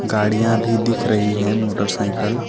गाड़ियां भी दिख रही है मोटरसाइकल --